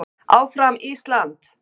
Áfram Ísland!